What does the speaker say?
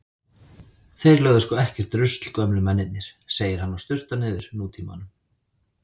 Þeir lögðu sko ekkert rusl gömlu mennirnir, segir hann og sturtar niður Nútímanum.